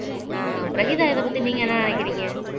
அஹ் பிரகீதா இதைப் பத்தி நீங்க என்ன நினைக்கிறீங்க